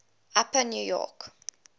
upper new york